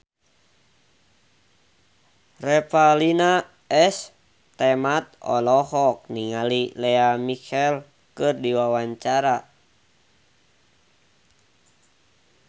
Revalina S. Temat olohok ningali Lea Michele keur diwawancara